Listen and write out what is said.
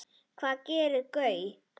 Hvað gerði Gaui?